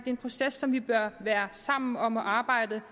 en proces som vi bør være sammen om at arbejde